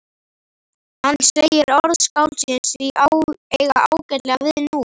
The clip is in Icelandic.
Hann segir orð skáldsins því eiga ágætlega við nú?